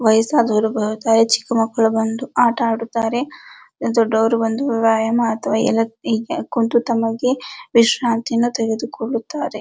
ವಯಸ್ಸಾದವರು ಬರುತ್ತಾರೆ ಚಿಕ್ಕ ಮಕ್ಕಳು ಬಂದು ಆಟ ಆಡುತ್ತಾರೆ ದೊಡ್ಡವರು ಬಂದು ವ್ಯಾಯಾಮ ಅಥವಾ ಕುಂತು ತಮಗೆ ವಿಶ್ರಾಂತಿಯನ್ನು ತೆಗೆದುಕೊಳ್ಳುತ್ತಾರೆ.